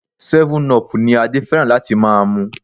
Seven-up ni Adé fẹ́ràn láti máa mu.